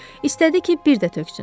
İstədi ki, bir də töksün.